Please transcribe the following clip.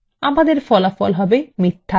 enter টিপুন